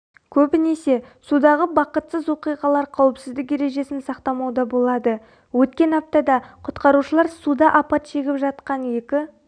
көбінесе судағы бақытсыз оқиғалар қауіпсіздік ережесін сақтамауда болады өткен аптада құтқарушылар суда апат шегіп жатқан екі